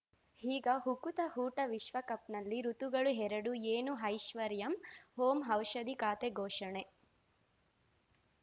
ಈಗ ಉಕುತ ಊಟ ವಿಶ್ವಕಪ್‌ನಲ್ಲಿ ಋತುಗಳು ಎರಡು ಏನು ಐಶ್ವರ್ಯಾ ಓಂ ಔಷಧಿ ಖಾತೆ ಘೋಷಣೆ